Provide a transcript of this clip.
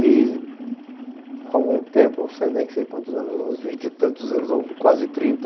E, há algum tempo, não sei quantos anos, uns vinte e tantos anos, ou quase trinta,